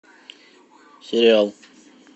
сериал